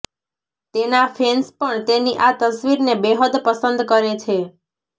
તેના ફેન્સ પણ તેની આ તસ્વીરને બેહદ પસંદ કરે છે